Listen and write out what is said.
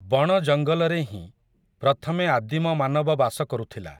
ବଣ ଜଙ୍ଗଲରେ ହିଁ, ପ୍ରଥମେ ଆଦିମ ମାନବ ବାସ କରୁଥିଲା ।